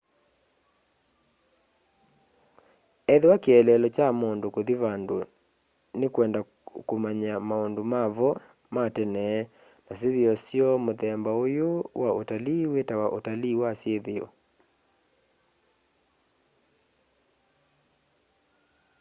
ethĩwa kĩeleelo kya mundu kuthi vandu ni kwenda umanya maundu mavo ma tene na syithio syoo muthemba uyu wa utalii witawa utalii wa syithio